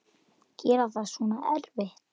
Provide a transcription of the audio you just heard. Gera þetta svona erfitt.